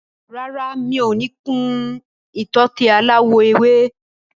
Rárá, mi ò ní kun ìtọ́tè aláwọ̀ ewé.